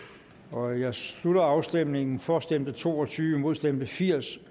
nu jeg slutter afstemningen for stemte to og tyve imod stemte firs